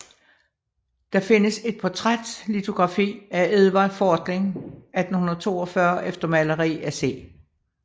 Der findes et portrætlitografi af Edvard Fortling 1842 efter maleri af C